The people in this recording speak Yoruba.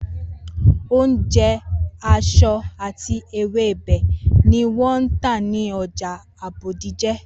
Oúnje̩, èso àti ewébè̩ ni wó̩n ̃́ tà ní o̩jà Bódìjà